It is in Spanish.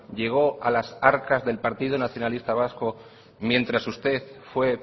llegó a las arcas del partido nacionalista vasco mientras usted fue